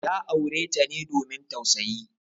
Ya aure ta ne domin tausayi.